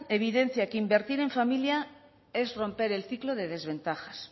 evidencia que invertir en familia es romper el ciclo de desventajas